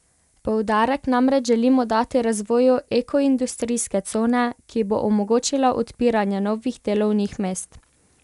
Poudarek namreč želimo dati razvoju ekoindustrijske cone, ki bo omogočila odpiranje novih delovnih mest.